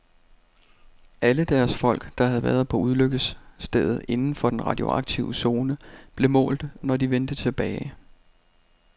Alle deres folk, der havde været på ulykkesstedet inden for den radioaktive zone, blev målt, når de vendte tilbage.